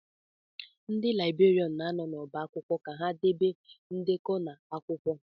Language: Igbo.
Ndị libèrián na-anọ n'ọbá akwụkwọ ka ha debe ndekọ na akwụkwọ